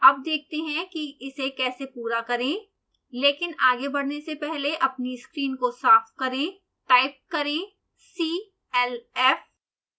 अब देखते हैं कि इसे कैसे पूरा करें लेकिन आगे बढने से पहले अपनी स्क्रीन को साफ करें टाइप करें clf